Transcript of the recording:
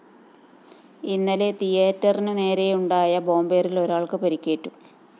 ഇന്നലെ തീയറ്ററിനുനേരെയുണ്ടായ ബോംബേറില്‍ ഒരാള്‍ക്ക് പരിക്കേറ്റു